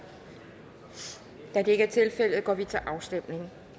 da det ikke er tilfældet går vi til afstemning